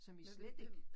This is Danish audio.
Som i slet ikke